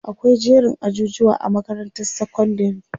akwai jerin ajujuwa a makarantar sekondari